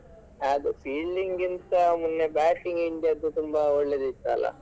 ಅದು fielding ಗಿಂತ ಮೊನ್ನೆ batting india ದ್ದು ತುಂಬಾ ಒಳ್ಳೆದಿತ್ತು ಅಲ್ಲಾ.